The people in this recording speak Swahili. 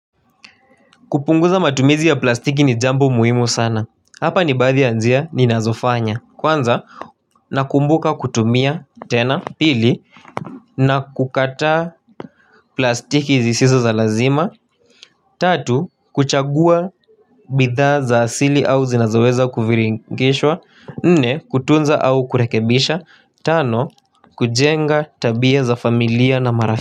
Kupunguza matumizi ya plastiki ni jambo muhimu sana. Hapa nibaadhi ya njia ni nazofanya. Kwanza nakumbuka kutumia tena pili. Na kukataa plastiki zisizo za lazima. Tatu kuchagua bithaa za asili au zinazoweza kufiringishwa. Nne kutunza au kurekebisha. Tano kujenga tabia za familia na marafi.